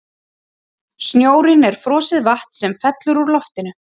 Snjórinn er frosið vatn sem fellur úr loftinu.